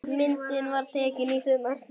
Myndin var tekin í sumar.